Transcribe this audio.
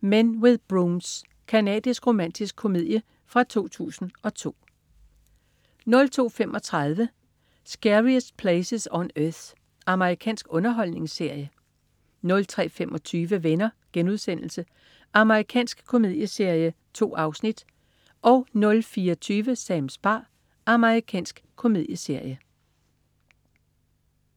Men with Brooms. Canadisk romantisk komedie fra 2002 02.35 Scariest Places on Earth. Amerikansk underholdningsserie 03.25 Venner.* Amerikansk komedieserie. 2 afsnit 04.20 Sams bar. Amerikansk komedieserie